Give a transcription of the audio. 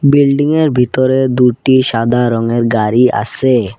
বিল্ডিংএর ভিতরে দুটি সাদা রঙের গাড়ি আসে ।